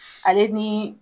Ale ni